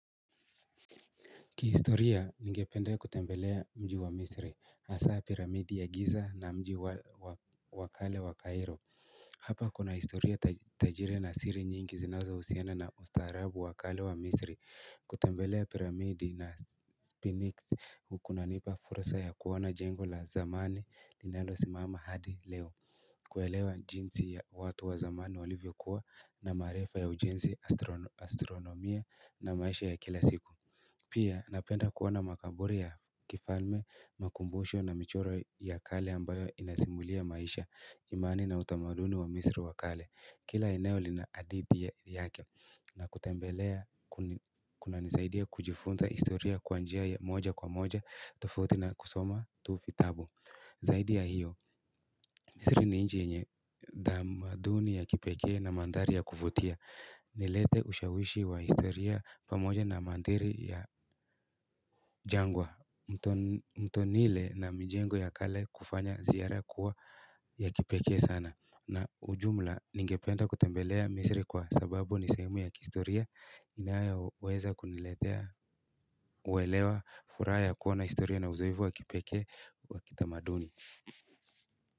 Kihistoria ningpenda kutembelea mji wa misri hasa piramidi ya giza na mji wakale wa Cairo hapa kuna historia tajiri na siri nyingi zinazo husiana na ustaarabu wakale wa misri kutembelea piramidi na speniks ukunanipa fursa ya kuona jengo la zamani linalosimama hadi leo kuelewa jinsi ya watu wa zamani walivyokuwa na maarifa ya ujenzi astronomia na maisha ya kila siku pia napenda kuoana makaburi ya kifalme makumbosho na michoro ya kale ambayo inasimulia maisha imani na utamaduni wa misri wa kale Kila eneo lina hadithi yake na kutembelea kuna nisaidia kujifunza historia kwa njia ya moja kwa moja tofauti na kusoma tu vitabu zaidi ya hiyo misri ni nchi yenye tamaduni ya kipekee na manthari ya kuvutia umeleta ushawishi wa historia pamoja na manthari ya jangwa mto nile na mijengo ya kale kufanya ziara kua ya kipekee sana na ujumla ningependa kutembelea misri kwa sababu ni sehemu ya kihistoria unaoweza kuniletea uelewa furaha ya kua na historia na uzoefu wa kipekee wa kitamaduni.